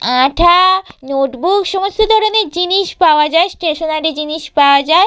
আঠা-আ-আ notebook সমস্ত ধরনের জিনিস পাওয়া যায় স্টেশনারি জিনিস পাওয়া যায়।